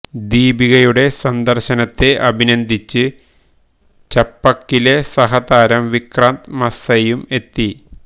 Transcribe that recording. ദീപികയുടെ സന്ദര്ശനത്തെ അഭിനന്ദിച്ച് ചപ്പക്കിലെ സഹതാരം വിക്രാന്ത് മസൈയും എത്തി